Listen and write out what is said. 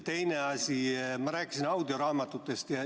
Teine asi, ma rääkisin audioraamatutest.